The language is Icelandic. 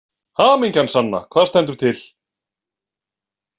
Hamingjan sanna, hvað stendur til?